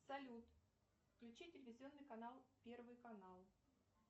салют включи телевизионный канал первый канал